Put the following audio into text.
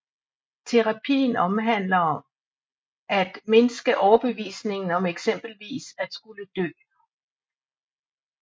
Terapien handler om at mindske overbevisningen om eksempelvis at skulle dø